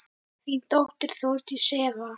Þín dóttir, Þórdís Eva.